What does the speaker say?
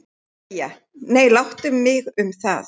BAUJA: Nei, láttu mig um það.